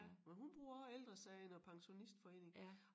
Men hun bruger også Ældre Sagen og æ pensionistforening